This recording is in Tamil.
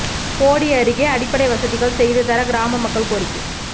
போடி அருகே அடிப்படை வசதிகள் செய்து தர கிராம மக்கள் கோரிக்கை